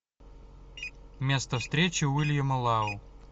место встречи уильяма лау